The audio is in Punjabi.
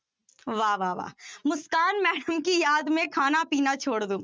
ਵਾਹ ਵਾਹ ਵਾਹ ਮੁਸਕਾਨ ma'am ਕੀ ਯਾਦ ਮੇ ਖਾਨਾ ਪੀਨਾ ਛੋੜ ਦਓ।